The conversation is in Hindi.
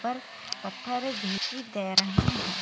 --पर पत्थर भी तैर रहे है।